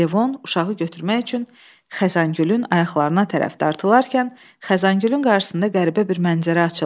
Levon uşağı götürmək üçün Xəzangülün ayaqlarına tərəf dartılarkən, Xəzangülün qarşısında qəribə bir mənzərə açıldı.